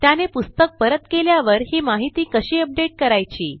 त्याने पुस्तक परत केल्यावर ही माहिती कशी अपडेट करायची